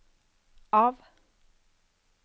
av